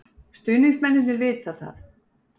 Stuðningsmennirnir vita það.